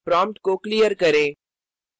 prompt को clear करें